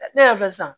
Ne y'a fɔ sisan